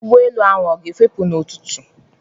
Ụgbọelu ahụ a ga-efepụ n'ụtụtụ a?